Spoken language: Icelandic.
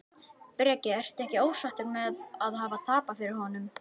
Breki: Ertu ekkert ósáttur með að hafa tapað fyrir honum?